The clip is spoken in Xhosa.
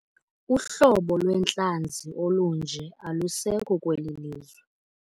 Uhlobo lwentlanzi olunje alusekho kweli lizwe.